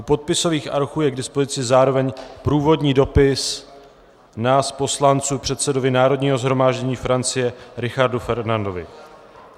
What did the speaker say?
U podpisových archů je k dispozici zároveň průvodní dopis nás poslanců předsedovi Národního shromáždění Francie Richardu Ferrandovi.